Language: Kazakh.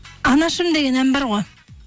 анашым деген ән бар ғой